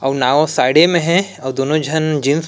अउ नाँवा साड़ी में हे अउ दोनों झन जीन्स --